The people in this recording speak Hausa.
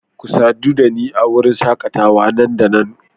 Ku sadu da ni a wurin shakatawa nan da nan